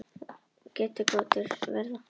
Allt umfram þá fullyrðingu verða getgátur.